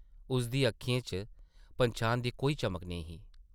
उसदी अक्खें च पन्छान दी कोई चमक निं ही ।